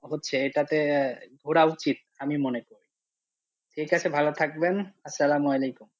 হচ্ছে এটা তে ঘোরা উচিত আমি মনে করি, ঠিক আছে ভালো থাকবেন, আস-সালাম আলাইকুম।